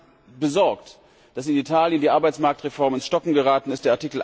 Mich macht besorgt, dass in Italien die Arbeitsmarktreform ins Stocken geraten ist.